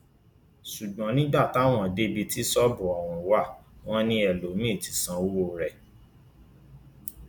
ṣùgbọn nígbà táwọn dé ibi tí ṣọọbù ọhún wà wọn ni ẹlòmíín ti sanwó rẹ